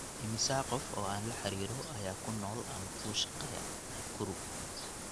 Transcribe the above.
immisa qof oo aan la xiriiro ayaa ku nool ama ka shaqeeya nakuru